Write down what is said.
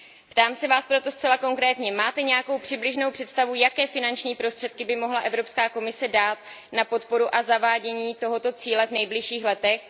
Ptám se Vás proto zcela konkrétně máte nějakou přibližnou představu, jaké finanční prostředky by mohla Evropská komise dát na podporu a zavádění tohoto cíle v nejbližších letech?